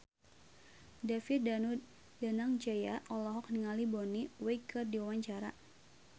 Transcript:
David Danu Danangjaya olohok ningali Bonnie Wright keur diwawancara